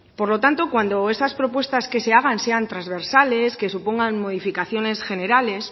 por lo tanto cuando esas propuestas que se hagan sean transversales que supongan modificaciones generales